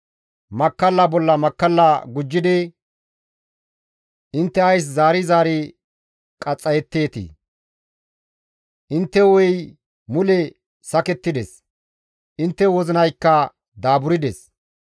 Makkalla bolla makkalla gujjidi intte ays zaari zaari qaxxayetteetii? Intte hu7ey mule sakettides; intte wozinaykka daaburdes.